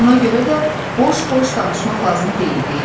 Buna görə də boş-boş danışmaq lazım deyil deyirdi.